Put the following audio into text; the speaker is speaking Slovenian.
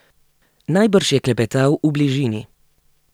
Najbrž je klepetal v bližini.